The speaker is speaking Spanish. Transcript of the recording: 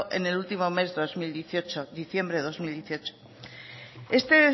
en el último mes de dos mil dieciocho diciembre de dos mil dieciocho este